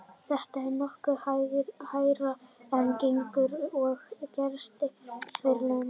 Þetta er nokkuð hærra en gengur og gerist á Vesturlöndum.